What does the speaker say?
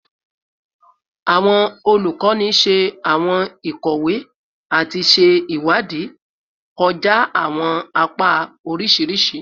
Awọn olukọni ṣe awọn ikowe ati ṣe iwadii kọja awọn apa oriṣiriṣi